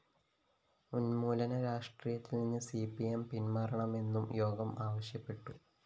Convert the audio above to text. ഉന്മൂലന രാഷ്ട്രീയത്തില്‍നിന്ന് C P M പിന്‍മാറണമെന്നും യോഗം ആവശ്യപ്പെട്ടു